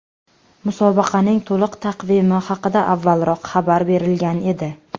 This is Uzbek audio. Musobaqaning to‘liq taqvimi haqida avvalroq xabar berilgan edi .